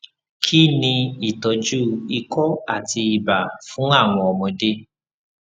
kí ni ìtọjú ikọ àti ibà fún àwọn ọmọdé